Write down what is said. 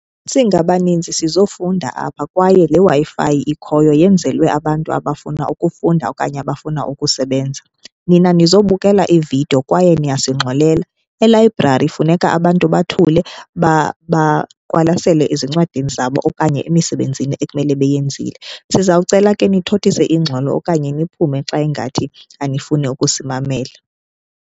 Singabaninzi sizofunda apha kwaye leWi-Fi ikhoyo yenzelwe abantu abafuna ukufunda okanye abafuna ukusebenza. Nina nizobukela iividiyo kwaye niyasingxolela. Elayibrari funeka abantu bathule baqwalasele ezincwadini zabo okanye emisebenzini ekumele beyenzile. Sizawucela ke nithothise ingxolo okanye niphume xa ingathi anifuni ukusimamela.